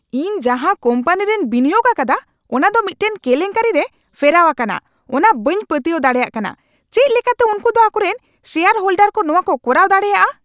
ᱤᱧ ᱡᱟᱦᱟ ᱠᱳᱢᱯᱟᱱᱤᱨᱮᱧ ᱵᱤᱱᱤᱭᱳᱜ ᱟᱠᱟᱫᱟ ᱚᱱᱟ ᱫᱚ ᱢᱤᱫᱴᱟᱝ ᱠᱮᱞᱮᱝᱠᱟᱹᱨᱤ ᱨᱮ ᱯᱷᱮᱨᱟᱣ ᱟᱠᱟᱱᱟ ᱚᱱᱟ ᱵᱟᱹᱧ ᱯᱟᱹᱛᱭᱟᱹᱣ ᱫᱟᱲᱮᱭᱟᱜ ᱠᱟᱱᱟ ᱾ ᱪᱮᱠᱟ ᱞᱮᱠᱟᱛᱮ ᱩᱝᱠᱩ ᱫᱚ ᱟᱠᱚᱨᱮᱱ ᱥᱮᱭᱟᱨ ᱦᱳᱞᱰᱟᱨ ᱠᱚ ᱱᱚᱣᱟᱠᱚ ᱠᱚᱨᱟᱣ ᱫᱟᱲᱮᱭᱟᱜᱼᱟ ?